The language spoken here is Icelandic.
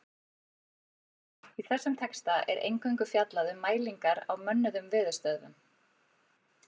Í þessum texta er eingöngu fjallað um mælingar á mönnuðum veðurstöðvum.